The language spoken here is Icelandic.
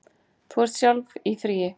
Þú ert sjálf í fríi.